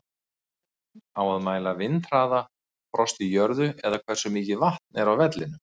Á að mæla vindhraða, frost í jörðu eða hversu mikið vatn er á vellinum?